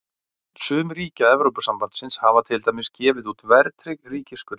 Sum ríkja Evrópusambandsins hafa til dæmis gefið út verðtryggð ríkisskuldabréf.